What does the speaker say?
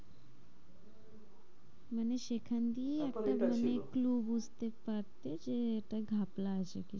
মানে সেখান দিয়ে একটা ব্যাপার এটা ছিল একটা মানে কেউ বুঝতে পারবে যে এটা ঘাপলা আছে।